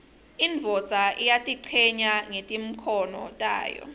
indvodza iyatichenya ngetimkhomo tayo